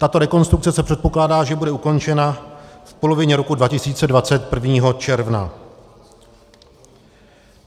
Tato rekonstrukce se předpokládá, že bude ukončena v polovině roku 2020, 1. června.